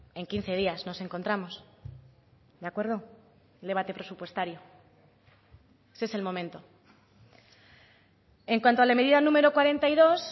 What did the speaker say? en quince días nos encontramos de acuerdo el debate presupuestario ese es el momento en cuanto a la medida número cuarenta y dos